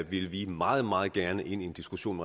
vi meget meget gerne ind i en diskussion